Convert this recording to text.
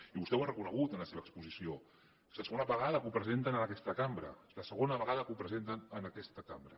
i vostè ho ha reconegut en la seva exposició és la segona vegada que ho presenten en aquesta cambra és la segona vegada que ho presenten en aquesta cambra